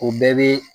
O bɛɛ bɛ